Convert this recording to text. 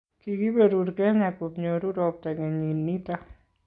kikiberur Kenya kobnyoru robta kenyit nito